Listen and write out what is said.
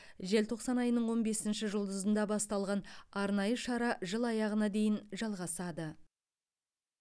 желтоқсан айының он бесінші жұлдызында басталған арнайы шара жыл аяғына дейін жалғасады